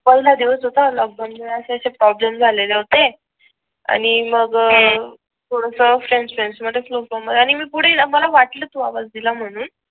पहिला दिवस होता आणि असे असे प्रॉब्लेम झालेले होते आणि मग थोडा फ्रेंड्स फ्रेंड्स मध्ये खूप मजा आणि पुढील आपण वाटला तो आवाज दिला म्हणून